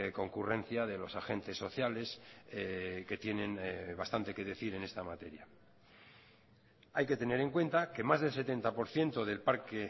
concurrencia de los agentes sociales que tienen bastante que decir en esta materia hay que tener en cuenta que más del setenta por ciento del parque